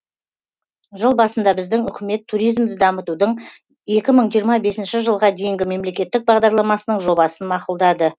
жыл басында біздің үкімет туризмді дамытудың екі мың жиырма бесінші жылға дейінгі мемлекеттік бағдарламасының жобасын мақұлдады